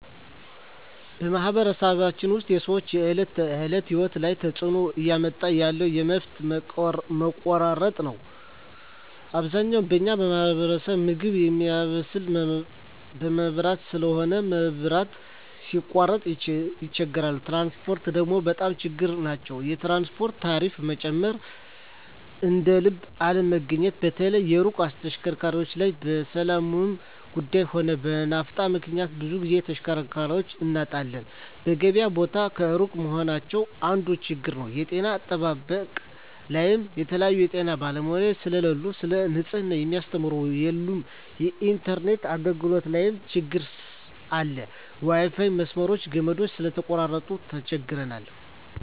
በማኅበረሰባችን ውስጥ የሰዎች የዕለት ተእለት ህይወት ላይ ትጽእኖ እያመጣ ያለው የመብት መቆራረጥ ነዉ አብዛኛው በኛ ማህበረሰብ ምግብ ሚያበስል በመብራት ስለሆነ መብራት ሲቃረጥ ይቸገራሉ ትራንስፖርት ደግሞ በጣም ችግር ናቸዉ የትራንስፖርት ታሪፋ መጨመር እደልብ አለመገኘት በተለይ የሩቅ ተሽከርካሪዎች ላይ በሠላሙም ጉዱይ ሆነ በናፍጣ ምክንያት ብዙ ግዜ ተሽከርካሪ እናጣለን የገበያ ቦታ እሩቅ መሆናቸው አንዱ ችግር ነዉ የጤና አጠባበቅ ላይም የተለያዩ የጤና ባለሙያዎች ስለሉ ሰለ ንጽሕና ሚያስተምሩ የሉም የኢንተርነት አገልግሎት ላይም ትግር አለ የዋይፋይ መስመሮች ገመዳቸው ስለተቆራረጠ ተቸግረዋል